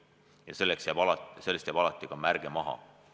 Ja sellest jääb alati ka märge maha.